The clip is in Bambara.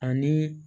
Ani